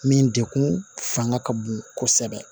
Min degun fanga ka bon kosɛbɛ